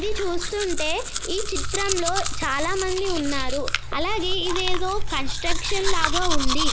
ఇది చూస్తుంటే ఈ చిత్రంలో చాలా మంది ఉన్నారు. అలాగే ఇదేదో కన్స్ట్రక్షన్ లాగా ఉంది.